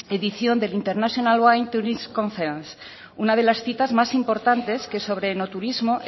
edición del international wine tourism conference una de las citas más importante que sobre enoturismo